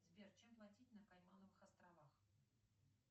сбер чем платить на каймановых островах